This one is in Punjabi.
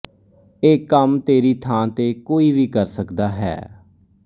ਇਹ ਕੰਮ ਤੇਰੀ ਥਾਂ ਤੇ ਕੋਈ ਵੀ ਕਰ ਸਕਦਾ ਹੈ